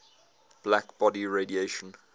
black body radiation